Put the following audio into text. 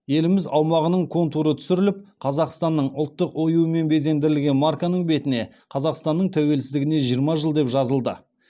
еліміз аумағының контуры түсіріліп қазақстанның ұлттық оюымен безендірілген марканың бетіне қазақстанның тәуелсіздігіне жиырма жыл деп жазылды